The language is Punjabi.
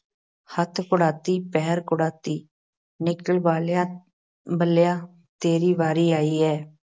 ਹੱਥ ਕੁੜਾਤੀ ਪੈਰ, ਕੁੜਾਤੀ, ਨਿਕਲ ਬਾਲਿਆ ਬੱਲਿਆ ਤੇਰੀ ਵਾਰੀ ਆਈ ਐ।